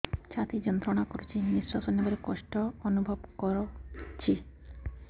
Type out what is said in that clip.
ଛାତି ଯନ୍ତ୍ରଣା କରୁଛି ନିଶ୍ୱାସ ନେବାରେ କଷ୍ଟ ଅନୁଭବ କରୁଛି